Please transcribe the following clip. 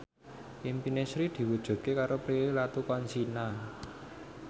impine Sri diwujudke karo Prilly Latuconsina